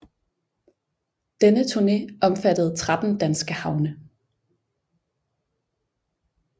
Denne turne omfattede 13 danske havne